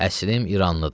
Əslim İranlıdır.